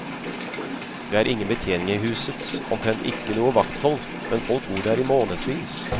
Det er ingen betjening i huset, omtrent ikke noe vakthold, men folk bor der i månedsvis.